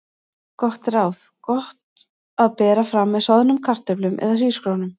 Gott ráð: Gott að bera fram með soðnum kartöflum eða hrísgrjónum.